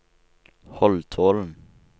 Holtålen